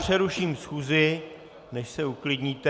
Přeruším schůzi, než se uklidníte...